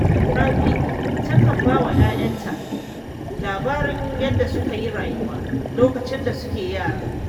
Rabi takan ba wa ‘ya’yanta labarin yadda suka yi rayuwa lokacin da suna yara